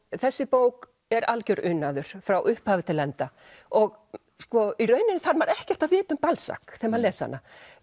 þessi bók er algjör unaður frá upphafi til enda og í rauninni þarf maður ekkert að vita um Balzac þegar maður les hana